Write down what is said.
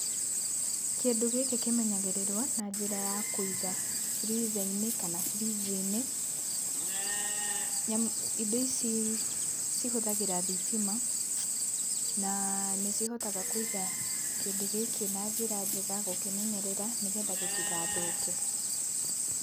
Kĩndũ gĩkĩ kĩmenyagĩrĩrwo na njĩra ya kũiga freezer-inĩ kana fridge-inĩ, nĩamu, indo ici cihũthagĩra thitima na nĩcihotaga kũiga kĩndũ gĩkĩ na njĩra njega, gũkĩmenyerera nĩgetha gĩtigathũke.